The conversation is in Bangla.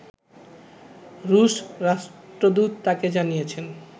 রুশ রাষ্ট্রদূত তাকে জানিয়েছেন